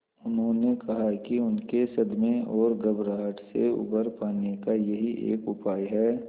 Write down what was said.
उन्होंने कहा कि उनके सदमे और घबराहट से उबर पाने का यही एक उपाय है